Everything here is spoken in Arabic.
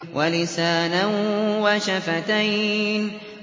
وَلِسَانًا وَشَفَتَيْنِ